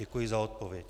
Děkuji za odpověď.